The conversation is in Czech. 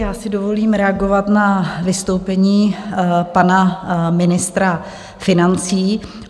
Já si dovolím reagovat na vystoupení pana ministra financí.